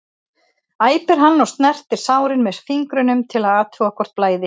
æpir hann og snertir sárin með fingrunum til að athuga hvort blæði.